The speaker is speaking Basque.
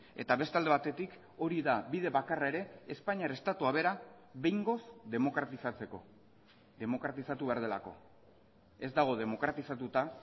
eta beste alde batetik hori da bide bakarra ere espainiar estatua bera behingoz demokratizatzeko demokratizatu behar delako ez dago demokratizatuta